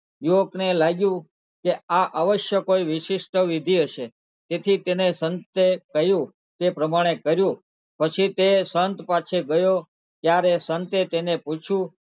યુવકને લાગ્યું કે આ અવશ્ય કોઈ વિશિષ્ટ વિધિ હશે તેથી તેને સંતે કહ્યું એ પ્રમાણે કર્યું પછી તે સંત પાસે ગયો ત્યારે સંતે તેને પૂછ્યું,